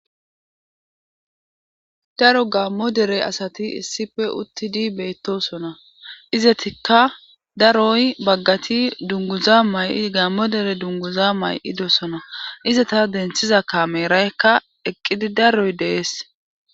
Daro gammo dere asati issippe uttidi beettosona. Izatikka daroy baggati dunguza mayi gaammo dere dunguza mayidosona .Izata denthiza kameeraykka eqqidi daroy dees.